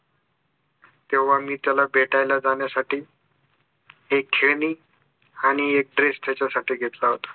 तेव्हा मी त्याला भेटायला जाण्यासाठी एक खेळणी आणि एक dress त्याच्यासाठी घेतला होता